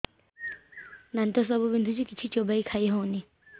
ଦାନ୍ତ ସବୁ ବିନ୍ଧୁଛି କିଛି ଚୋବେଇ ଖାଇ ହଉନି